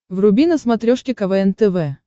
вруби на смотрешке квн тв